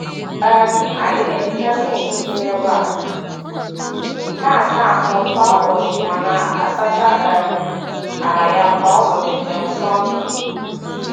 um Anyị na-ehicha sinki dị na-ebe a na-asa ahụ kwa ụbọchị ma na - asacha um ala ya kwa ụbọchị um Sọndee